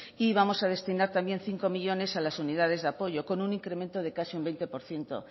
y vamos a destinar también cinco millónes a las unidades de apoyo con un incremento de casi un veinte por ciento